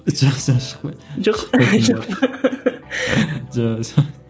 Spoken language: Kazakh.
жақсы ән шықпайды жоқ жоқ па